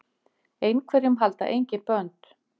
Einhverjum halda engin bönd